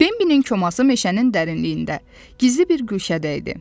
Bimbinin koması meşənin dərinliyində, gizli bir güşədə idi.